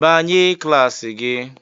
"Banye klas gị!"